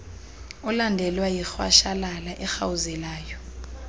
olandelwa yirhwashalala erhawuzelayo